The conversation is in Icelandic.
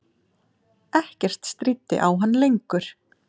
Ekkert stríddi á hann lengur.